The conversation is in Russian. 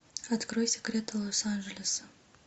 открой секреты лос анджелеса